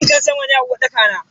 Fankar sama ne a uwarɗaka na.